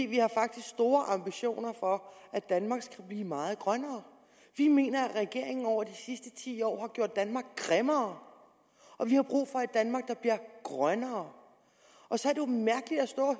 vi har faktisk store ambitioner om at danmark skal blive meget grønnere vi mener at regeringen over de sidste ti år har gjort danmark grimmere og vi har brug for et danmark der bliver grønnere og så